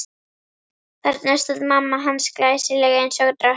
Þarna stóð mamma hans, glæsileg eins og drottning.